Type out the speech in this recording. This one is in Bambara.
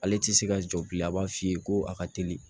Ale tɛ se ka jɔ bilen a b'a f'i ye ko a ka teli